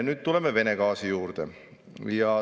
Nüüd tuleme Vene gaasi juurde.